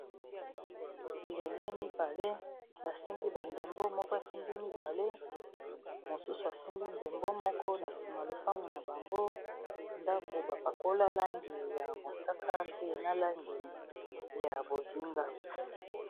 Bilenge mibali basimbi ba ndembo moko asimbi mibale, mosusu asimbi ndembo moko. Na nsima lopangu na bango ndako ba pakola langi ya mosaka, pe na langi ya bozinga.